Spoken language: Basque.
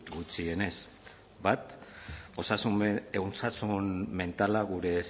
gutxienez bat osasun mentala gure